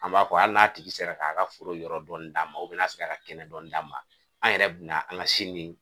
An b'a fɔ hali n'a tigi sera k'a ka foro yɔrɔ dɔɔni d'an ma u bɛ n'a se k'a ka kɛnɛ dɔɔni d'an ma an yɛrɛ bi na an ŋa si min